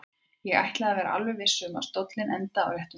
Ég ætlaði að vera alveg viss um að stóllinn endaði á réttum stað.